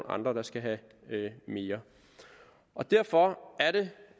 andre der skal have mere og derfor er det